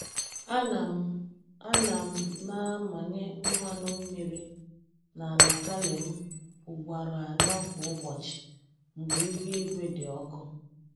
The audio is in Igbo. Ana m Ana m na-amanye mmanụ mmiri n’ala kale m ugboro anọ kwa ụbọchị mgbe ihu igwe dị ọkụ.